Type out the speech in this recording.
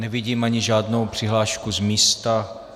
Nevidím ani žádnou přihlášku z místa.